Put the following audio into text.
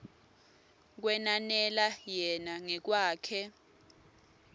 kwenanela yena ngekwakhe